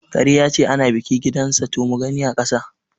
Kare yace ana ɓiƙi gidan sa to mugani aƙasa